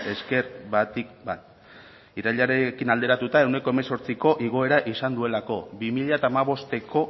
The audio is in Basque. esker batik bat irailarekin alderatuta ehuneko hemezortziko igoera izan duelako bi mila hamabosteko